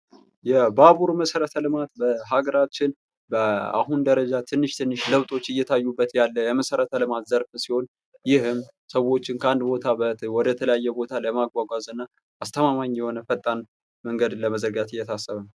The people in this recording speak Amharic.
የባቡር መሠረት ልማት በሀገራችን በአሁን ደረጃ ትንሽ ትንሽ ለውጦች እየታዩበት ያለ የመሠረተ ልማት ዘርፍ ሲሆን ይህም ሰዎችን ከአንድ ቦታ ወደተለያየ ቦታ ለማጓጓዝ እና አስተማማኝ የሆነ ፈጣን መንገድን ለመዘርጋት እየታሰበ ነው።